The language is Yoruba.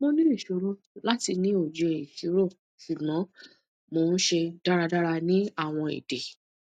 mo ni iṣoro lati ni oye iṣiro ṣugbọn mo n ṣe daradara ni awọn ede